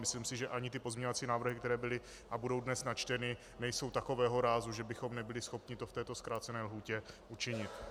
Myslím si, že ani ty pozměňovací návrhy, které byly a budou dnes načteny, nejsou takového rázu, že bychom nebyli schopni to v této zkrácené lhůtě učinit.